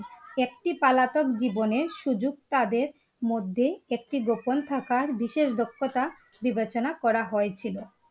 একটি পলাতক জীবনের সুযোগ তাদের মধ্যে একটি গোপন থাকার বিশেষ দক্ষতা বিবেচনা করা হয়েছিল ।